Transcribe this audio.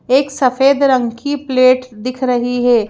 एक सफेद रंग की प्लेट दिख रही है।